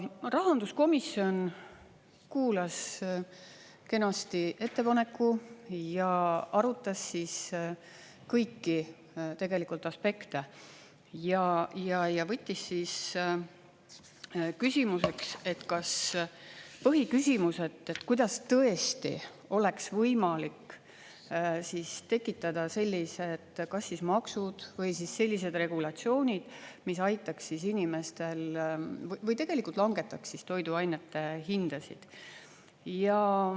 Rahanduskomisjon kuulas kenasti ettepaneku ja arutas kõiki aspekte ja võttis küsimuseks, põhiküsimuseks, kuidas tõesti oleks võimalik tekitada sellised kas maksud või siis sellised regulatsioonid, mis aitaks inimestel … või tegelikult langetaks siis toiduainete hindasid.